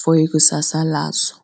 for ikusasa lazo.